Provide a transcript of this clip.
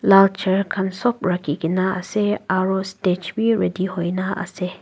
lal chair khan sop rakhikaena ase aro stage bi ready hoina ase.